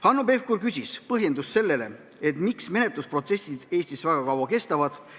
Hanno Pevkur küsis põhjendust, miks menetlusprotsessid Eestis väga kaua kestavad.